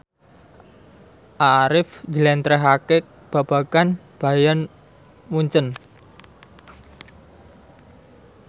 Arif njlentrehake babagan Bayern Munchen